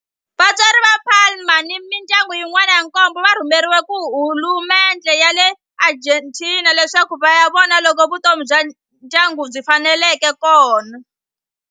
Vatswari va Palma ni mindyangu yin'wana ya nkombo va rhumeriwe hi hulumendhe ya le Argentina leswaku va ya vona loko vutomi bya ndyangu byi faneleka laha.